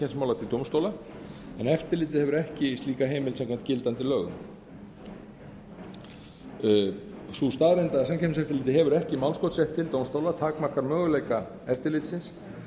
samkeppnismála til dómstóla en eftirlitið hefur ekki slíka heimild samkvæmt gildandi lögum sú staðreynd að samkeppniseftirlitið hefur ekki málskotsrétt til dómstóla takmarkar möguleika eftirlitsins